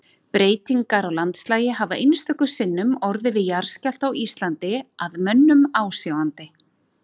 Breytingar á landslagi hafa einstöku sinnum orðið við jarðskjálfta á Íslandi að mönnum ásjáandi.